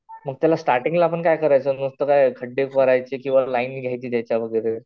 मग त्याला स्टार्टिंगला काय करायचं नुसते काय खडडे भरायचे, लाईन घ्यायची त्याच्या वैगरे.